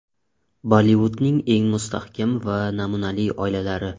Bollivudning eng mustahkam va namunali oilalari .